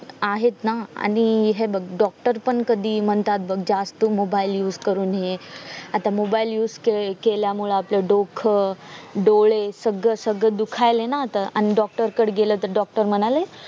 आहेत ना आणि हे बग doctor पण कधी म्हणतात बग जास्त mobile used करू नये आता mobile used के केल्यामळे आपलं डोक डोळे सगळं सगळं दुखायले ना आता आणि doctor कडे गेल त doctor म्हणायले